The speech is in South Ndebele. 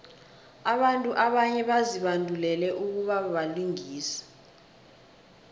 abantu abanye bazibandulele ukubabalingisi